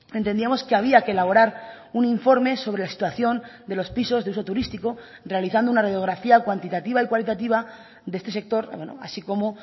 entendíamos que había que elaborar un informe sobre la situación de los pisos de uso turístico realizando una radiografía cuantitativa y cualitativa de este sector así como